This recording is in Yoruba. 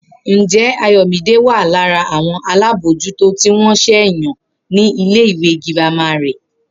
Ǹjé̩ Ayò̩mídé wà lára àwo̩n alábòójútó tí wó̩n s̩è̩ yàn ní ilé ìwé girama rè̩?